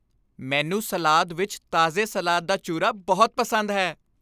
ਮੈਨੂੰ ਸਲਾਦ ਵਿੱਚ ਤਾਜ਼ੇ ਸਲਾਦ ਦਾ ਚੂਰਾ ਬਹੁਤ ਪਸੰਦ ਹੈ।